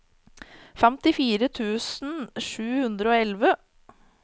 femtifire tusen sju hundre og elleve